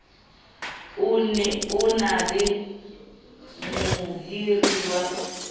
o na le mohiri ya